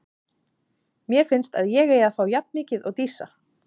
Mér finnst að ég eigi að fá jafn mikið og Dísa.